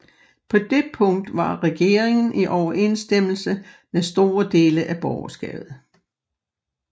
På det punkt var regeringen i overensstemmelse med store dele af borgerskabet